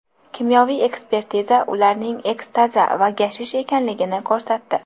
Kimyoviy ekspertiza ularning ekstazi va gashish ekanligini ko‘rsatdi.